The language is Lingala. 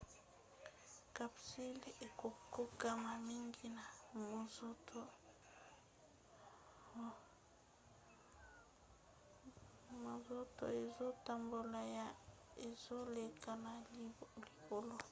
capsule ekokokana mingi na monzoto ezotambola yo ezoleka na likolo